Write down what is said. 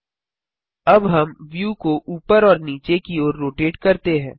अब हम व्यू को ऊपर और नीचे की ओर रोटेट करते हैं